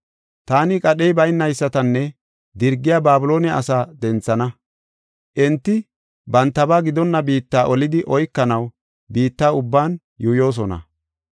Taani qadhey baynaysatanne dirgiya Babiloone asaa denthana. Enti bantaba gidonna biitta olidi oykanaw biitta ubban yuuyosona.